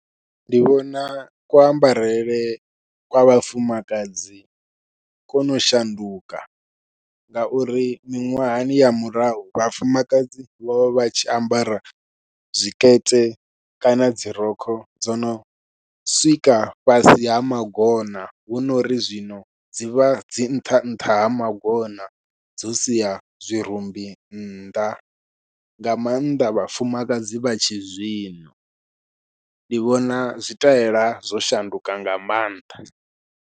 Ndi vhona ku ambarele kwa vhafumakadzi kono shanduka, ngauri miṅwahani ya murahu vhafumakadzi vho vha vha tshi ambara zwikete kana dzi rokho dzono swika fhasi ha magona hunori zwino dzivha dzi nṱha nṱha ha magona dzo sia zwirumbi nnḓa, nga maanḓa vhafumakadzi vha tshi zwino ndi vhona zwitaela zwo shanduka nga maanḓa.